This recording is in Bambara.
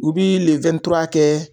U bii kɛ